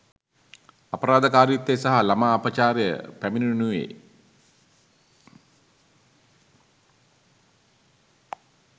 අපරාධකාරිත්වය සහ ළමා අපචාරය පැමිණෙනුයේ